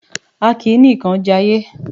A kì í nìkan jayé.